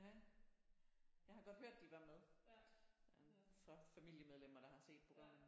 Ja jeg har godt hørt at de var med øh fra familiemedlemmer der har set programmerne